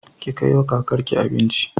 Ki kaiwa kakar ki abinci.